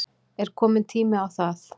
Er kominn tími á það?